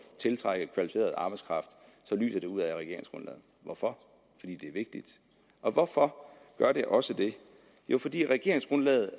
tiltrække kvalificeret arbejdskraft så lyser det ud af regeringsgrundlaget hvorfor fordi det er vigtigt og hvorfor gør det også det jo fordi regeringsgrundlaget